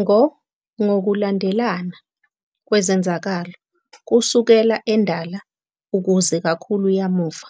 Ngo ngokulandelana kwezenzakalo, kusukela endala ukuze kakhulu yamuva,